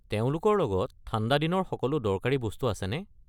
তেওঁলোকৰ লগত ঠাণ্ডাদিনৰ সকলো দৰকাৰী বস্তু আছেনে?